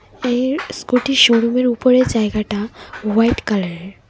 এর স্কুটির শোরুমের উপরের জায়গাটা হোয়াইট কালারের।